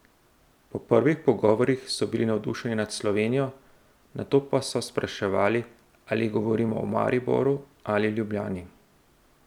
Po prvih pogovorih so bili navdušeni nad Slovenijo, nato pa so spraševali, ali govorimo o Mariboru ali Ljubljani.